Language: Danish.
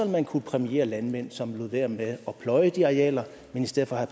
man kunne præmiere landmænd som lod være med at pløje de arealer men i stedet for havde